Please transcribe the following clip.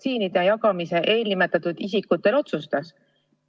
Kes otsustas jagada vaktsiine eelnimetatud isikutele?